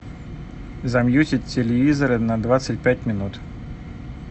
замьютить телевизора на двадцать пять минут